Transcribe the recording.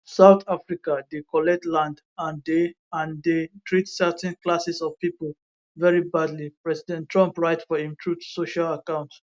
south africa dey collect land and dey and dey treat certain classes of pipo very badly president trump write for im truth social account